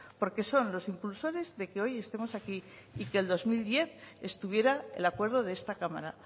porque son los impulsores de que hoy estemos aquí y que el dos mil diez estuviera el acuerdo de esta cámara